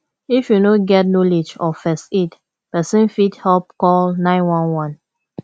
if you no get knowlege of first aid persin fit help call 911